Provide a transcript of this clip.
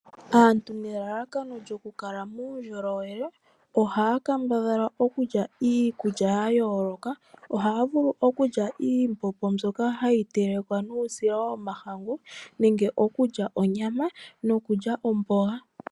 Aantu nelalakano lyokukaleka po uundjolowele ohaya kambadhala okulya iikulya ya yooloka, ohaya vulu okulya iimbombo mbyoka hayi telekwa nuusila womahangu nenge okulya onyama nokulya omboga.